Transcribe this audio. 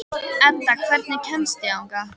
Edda, hvernig kemst ég þangað?